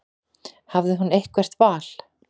Hafði hún eitthvert val?